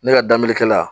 Ne ka daminɛ kɛla